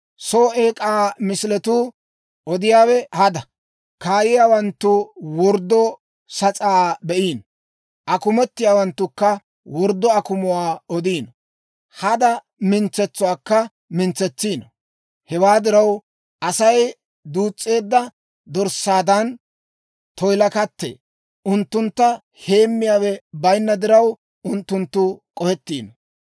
Soo eek'aa misiletuu odiyaawe hada; kaayiyaawanttu worddo sas'aa be'iino; akumetiyaawanttukka worddo akumuwaa odiino; hada mintsetsuwaakka mintsetsiino. Hewaa diraw, Asay duus's'eedda dorssaadan toyilakattee; unttuntta heemmiyaawe bayinna diraw, unttunttu k'ohettiino.